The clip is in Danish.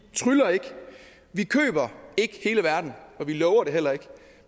tryller ikke vi køber ikke hele verden og vi lover det heller ikke